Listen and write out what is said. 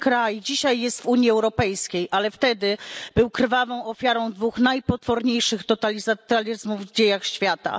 Mój kraj dzisiaj jest w Unii Europejskiej, ale wtedy był krwawą ofiarą dwóch najpotworniejszych totalitaryzmów w dziejach świata.